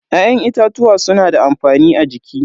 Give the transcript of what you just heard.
Ya'yan itatuwa suna da amfani a jiki.